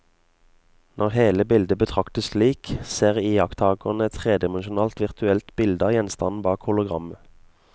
Når hele bildet betraktes slik, ser iakttakeren et tredimensjonalt virtuelt bilde av gjenstanden bak hologrammet.